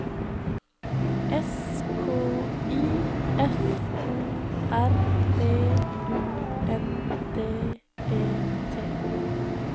S K I F O R B U N D E T